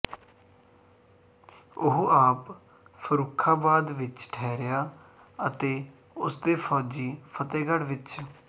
ਉਹ ਆਪ ਫੱਰੂਖਾਬਾਦ ਵਿੱਚ ਠਹਰਿਆ ਅਤੇ ਉਸਦੇ ਫੌਜੀ ਫ਼ਤਿਹਗੜ੍ਹ ਵਿੱਚ